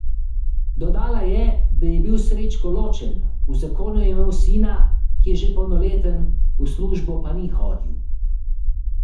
Dodala je, da je bil Srečko ločen, v zakonu je imel sina, ki je že polnoleten, v službo pa ni hodil.